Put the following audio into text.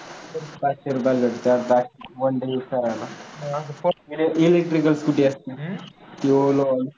पाचशे रुपये असते back one day use करायला electric scooter असते.